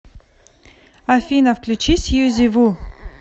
афина включи сьюзи ву